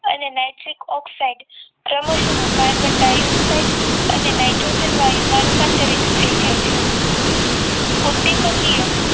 અને nitric oxide ક્રમશ carbon dioxide અને નાઇટ્રોજન વાયુ માં રૂપાંતરિત થઈ જાય છે ઉદ્દીપકીય